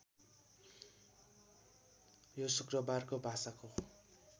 यो शुक्रबारको भाषाको